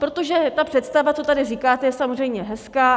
Protože ta představa, co tady říkáte, je samozřejmě hezká.